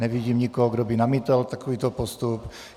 Nevidím nikoho, kdo by namítal takovýto postup.